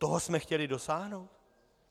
Toho jsme chtěli dosáhnout?